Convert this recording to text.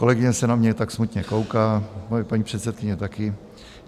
Kolegyně se na mě tak smutně kouká, moje paní předsedkyně taky.